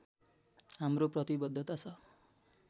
हाम्रो प्रतिवद्धता छ